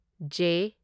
J